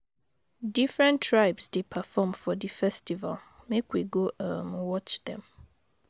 Different tribes dey perform for di festival make we go um watch dem.